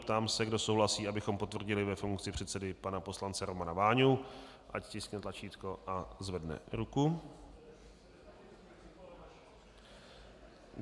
Ptám se, kdo souhlasí, abychom potvrdili ve funkci předsedy pana poslance Romana Váňu, ať stiskne tlačítko a zvedne ruku.